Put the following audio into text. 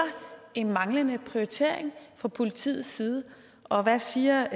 en manglende prioritering fra politiets side og hvad siger